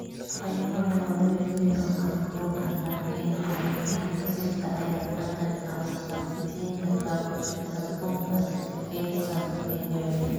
Kaymaha waa weel weyn oo kaarboon ah, laakiin xaalufinta dhirta ayaa ka qayb qaadata sii daynta kaarboonka kaydsan ee jawiga.